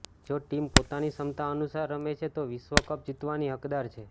જો ટીમ પોતાની ક્ષમતા અનુસાર રમે છે તો વિશ્વ કપ જીતવાની હકદાર છે